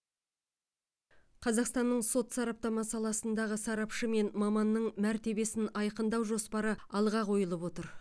қазақстанның сот сараптама саласындағы сарапшы мен маманның мәртебесін айқындау жоспары алға қойылып отыр